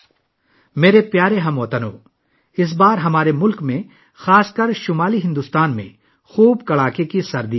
میرے پیارے ہم وطنو، اس بار ہمارے ملک میں، خاص کر شمالی بھارت میں سخت سردی تھی